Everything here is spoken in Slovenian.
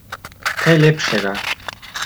Kaj lepšega!